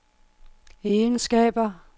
egenskaber